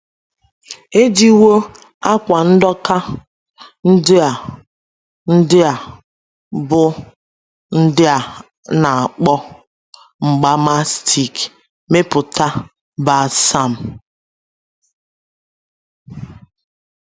E jiwo “ àkwà ndoka ” ndị a ” ndị a, bụ́ ndị a na - akpọ mgba mastic, mepụta balsam.